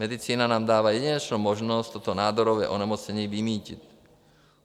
Medicína nám dává jedinečnou možnost toto nádorové onemocnění vymýtit.